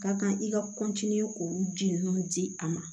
Ka kan i ka k'olu ji ninnu di a ma